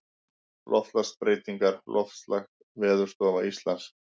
Loftslagsbreytingar Loftslag Veðurstofa Íslands.